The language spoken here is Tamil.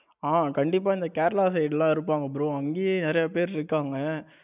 ஆ கண்டிப்பா இந்த கேரளா side எல்லாம் இருப்பாங்க bro அங்கையே நிறைய பேர் இருக்காங்க